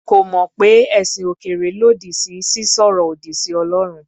Kò mọ̀ pé ẹ̀sìn òkèèrè lòdì sí sísọ̀rọ̀ òdì sí Ọlọ́run.